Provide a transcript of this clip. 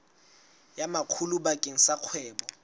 ya makgulo bakeng sa kgwebo